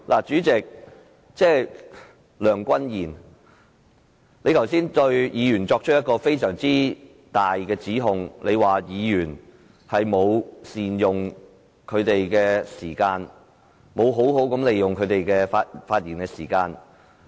主席，梁君彥，你剛才對議員作出非常嚴重的指控，指議員沒有善用時間，沒有好好利用他們的發言時間。